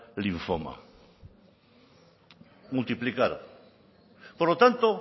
linfoma multiplicar por lo tanto